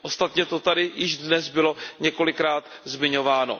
Ostatně to tady již dnes bylo několikrát zmiňováno.